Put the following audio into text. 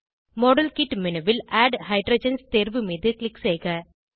model kit menu ல் add hydrogens தேர்வு மீது க்ளிக் செய்க